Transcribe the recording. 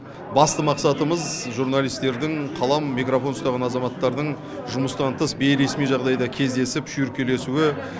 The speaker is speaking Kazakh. басты мақсатымыз журналистердін қалам микрофон ұстаған азаматтардын жұмыстан тыс бейресми жағдайда кездесіп шүйіркелесуі